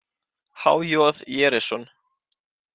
H J Jerison.